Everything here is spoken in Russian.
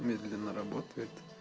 медленно работает